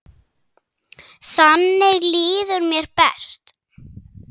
Þannig líður mér best.